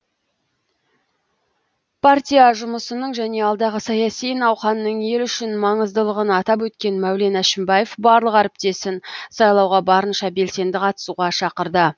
партия жұмысының және алдағы саяси науқанның ел үшін маңыздылығын атап өткен мәулен әшімбаев барлық әріптесін сайлауға барынша белсенді қатысуға шақырды